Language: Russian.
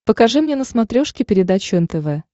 покажи мне на смотрешке передачу нтв